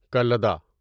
کلدا